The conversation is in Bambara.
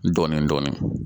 Dɔɔnin dɔɔnin